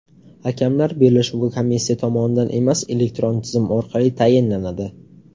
Hakamlar bellashuvga komissiya tomonidan emas, elektron tizim orqali tayinlanadi.